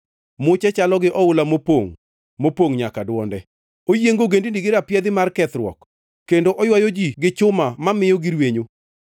Muche chalo gi oula mopongʼ, mopongʼ nyaka dwonde. Oyiengo ogendini gi rapiedhi mar kethruok; kendo oywayo ji gi chuma mamiyo girwenyo.